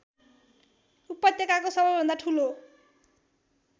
उपत्यकाको सबैभन्दा ठूलो